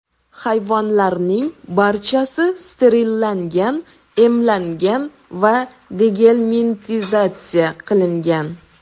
Hayvonlarning barchasi sterillangan, emlangan va degelmintizatsiya qilingan.